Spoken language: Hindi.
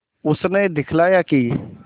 उसने दिखलाया कि